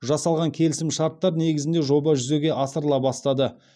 жасалған келісімшарттар негізінде жоба жүзеге асырыла бастады